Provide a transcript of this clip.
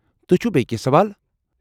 تُہۍ چھوٕ بیٚیہ کینٛہہ سوال؟